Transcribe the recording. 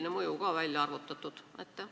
Kas see on ka välja arvutatud?